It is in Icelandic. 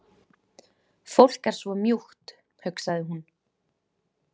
Fólk er svo mjúkt, hugsaði hún.